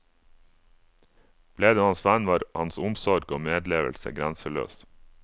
Ble du hans venn, var hans omsorg og medlevelse grenseløs.